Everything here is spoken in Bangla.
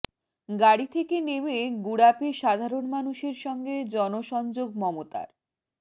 গাড়ি থেকে নেমে গুড়াপে সাধারণ মানুষের সঙ্গে জনসংযোগ মমতার